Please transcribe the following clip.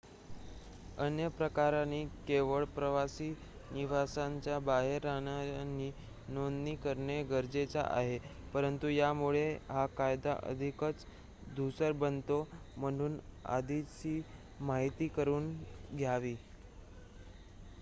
अन्य प्रकरणी केवळ प्रवासी निवासांच्या बाहेर राहणाऱ्यांनी नोंदणी करणे गरजेचे आहे परंतु यामुळे हा कायदा अधिकच धूसर बनतो म्हणून आधीच माहिती करुन घ्यावी